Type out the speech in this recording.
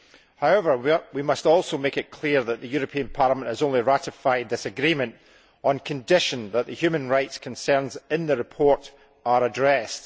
However, we must also make it clear that the European Parliament has only ratified this agreement on condition that the human rights concerns in the report are addressed.